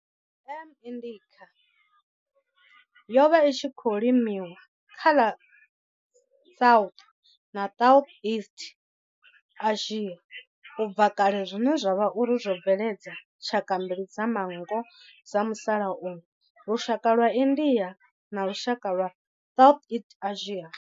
M. indica yo vha i tshi khou limiwa kha ḽa South na Southeast Asia ubva kale zwine zwa vha uri zwo bveledza tshaka mbili dza manngo dza musalauno, lushaka lwa India na lushaka lwa Southeast Asia.